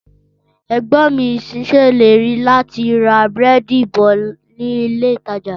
Ẹgbọn mi ṣèlérí láti ra búrẹ́dì bọ nílé ìtajà